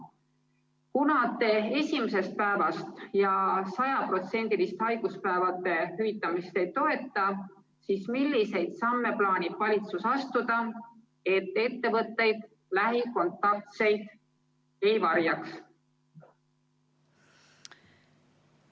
Kuna te esimesest päevast ja 100%-list haiguspäevade hüvitamist ei toeta, siis milliseid samme plaanib valitsus astuda, et ettevõtjad lähikontaktseid ei varjaks?